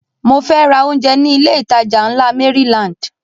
Mo fẹ́ ra oúnjẹ ní ilé ìtajà ńlá Maryland